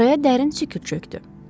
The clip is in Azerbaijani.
Araya dərin sükut çökdü.